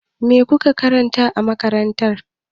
Me kuka karanta a makarantar?